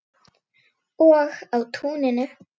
Og á túninu.